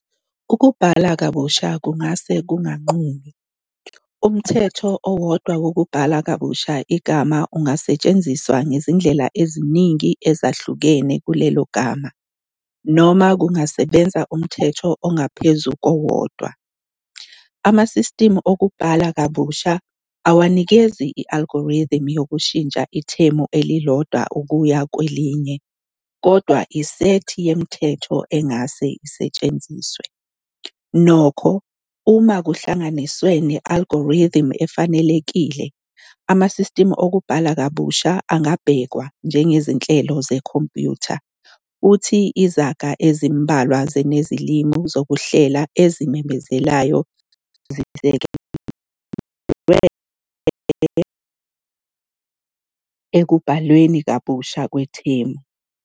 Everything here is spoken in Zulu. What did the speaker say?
Ukubhala kabusha kungase kunganqumi. Umthetho owodwa wokubhala kabusha igama ungasetshenziswa ngezindlela eziningi ezahlukene kulelo gama, noma kungasebenza umthetho ongaphezu kowodwa. Amasistimu okubhala kabusha awanikezi i- algorithm yokushintsha ithemu elilodwa ukuya kwelinye, kodwa isethi yemithetho engase isetshenziswe. Nokho, uma kuhlanganiswe ne-algorithm efanelekile, amasistimu okubhala kabusha angabhekwa njengezinhlelo zekhompyutha, futhi izaga ezimbalwa ze- nezilimi zokuhlela ezimemezelayo zisekelwe ekubhalweni kabusha kwethemu.